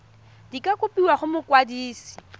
di ka kopiwa go mokwadise